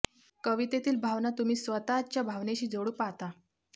कवितेतील भावना तुम्ही स्वतः च्या भावनेशी जोडू पाहता